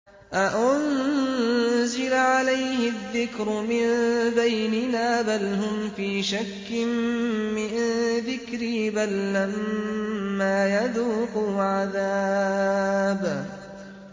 أَأُنزِلَ عَلَيْهِ الذِّكْرُ مِن بَيْنِنَا ۚ بَلْ هُمْ فِي شَكٍّ مِّن ذِكْرِي ۖ بَل لَّمَّا يَذُوقُوا عَذَابِ